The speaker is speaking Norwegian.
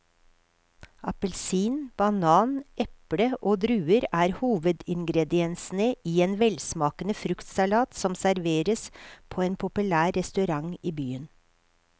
Appelsin, banan, eple og druer er hovedingredienser i en velsmakende fruktsalat som serveres på en populær restaurant i byen.